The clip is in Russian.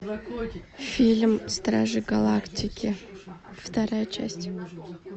фильм стражи галактики вторая часть